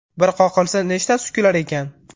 Bir qoqilsa, nechtasi kular ekan?